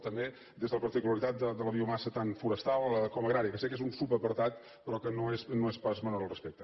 també des de la particularitat de la biomassa tant forestal com agrària que sé que és un subapartat però que no és pas menor al respecte